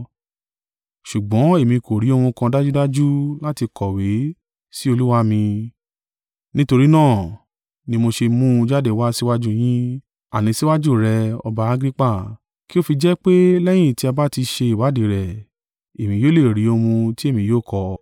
Ṣùgbọ́n èmi kò ri ohun kan dájúdájú láti kọ̀wé sí olúwa mi. Nítorí náà ni mo ṣe mú un jáde wá síwájú yín, àní síwájú rẹ ọba Agrippa, kí o fi jẹ́ pé lẹ́yìn tí a ba tí ṣe ìwádìí rẹ̀, èmi yóò lè rí ohun tí èmi yóò kọ.